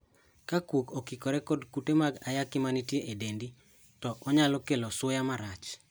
Ka kuok okikore kod kute mag ayaki manitie e dendi to onyalo kelo suya marach.